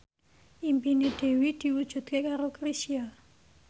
impine Dewi diwujudke karo Chrisye